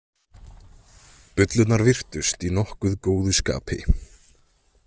Bullurnar virtust í nokkuð góðu skapi.